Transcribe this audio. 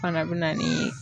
Fana be na ni